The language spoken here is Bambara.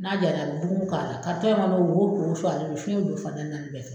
N'a jara a bɛ bugun k'a la in kɔnɔ wo wo suwalen do fiyɛn bɛ don fan tan ni naani fɛ.